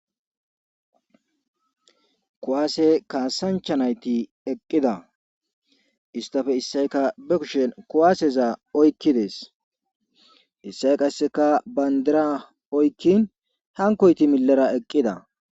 Kuwaase kaasanchanayti eqqida istafe issayka be kushen kuwaaseza oykkides issay qasseka bayndira oykkin hankoyti millara eqqida.